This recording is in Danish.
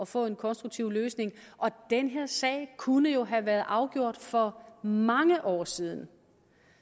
få en konstruktiv løsning og den her sag kunne jo have været afgjort for mange år siden